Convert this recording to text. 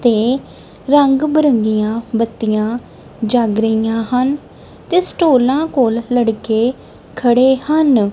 ਤੇ ਰੰਗ ਬਰੰਗੀਆਂ ਬੱਤੀਆਂ ਜਗ ਰਹੀਆਂ ਹਨ ਤੇ ਸਟੋਲਾਂ ਕੋਲ ਲੜਕੇ ਖੜੇ ਹਨ।